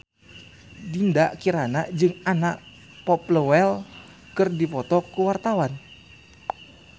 Dinda Kirana jeung Anna Popplewell keur dipoto ku wartawan